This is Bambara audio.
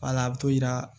Wala a bɛ t'o yira